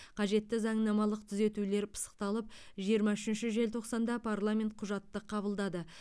қажетті заңнамалық түзетулер пысықталып жиырма үшінші желтоқсанда парламент құжатты қабылдады